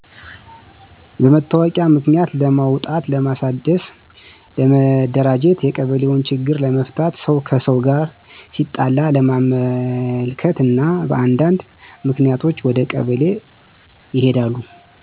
በመታወቂያ ምክንያት ለማውጣት ለማሣደስ፣ ለመደራጀት፣ የቀበሌውን ችግር ለመፍታት፣ ሰው ከሰው ጋር ሲጣላ ለማመልከት እና በአንዳነድ ምክንያቶች ወደ ቀበሌ ይሔዳሉ።